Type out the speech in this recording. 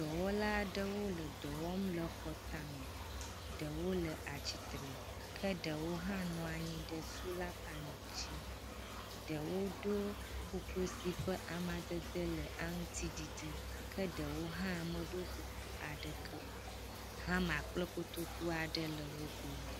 Dɔwɔla aɖewo le dɔ wɔm le xɔ tame. Ɖewo le atsitre ke ɖewo hã nɔanyi ɖe sola panel dzi. Ɖewo ɖo kuku si ƒe amadede le aŋutiɖiɖi ke ɖewo hã meɖo kuku aɖeke o. Hama kple koto aɖe le wo gbɔ.